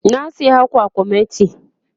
na saya kwakwamati